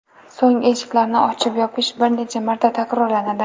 So‘ng eshiklarni ochib-yopish bir necha marta takrorlanadi.